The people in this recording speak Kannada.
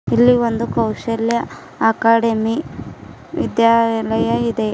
ಇಲ್ಲಿ ಒಂದು ಕೈಶಲ್ಯ ಅಕಾಡೆಮಿ ವಿದ್ಯಾನಿಲಯ ಇದೆ.